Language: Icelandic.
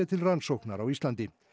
til rannsóknar á Íslandi